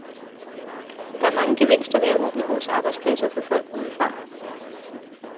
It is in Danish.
Der er mange gevinster ved at åbne vores arbejdspladser for folk udefra.